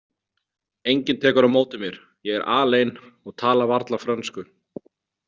Enginn tekur á móti mér, ég er alein og tala varla frönsku.